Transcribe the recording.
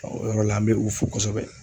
O yɔrɔ la an bɛ u fo kosɛbɛ